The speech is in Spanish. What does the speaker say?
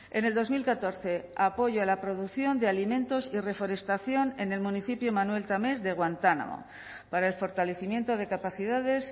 en el dos mil catorce apoyo a la producción de alimentos y reforestación en el municipio manuel tames de guantánamo para el fortalecimiento de capacidades